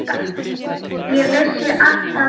Ég vissi alltaf hvers vegna.